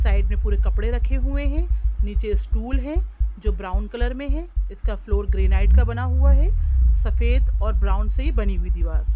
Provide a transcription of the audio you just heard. side मे पूरे कपड़े रखे हुए हैं नीचे स्टूल है जो ब्राउन कलर में है इस का फ्लोर ग्रेनाइट का बना हुआ है सफेद और ब्राउन से बनी हुई दीवार--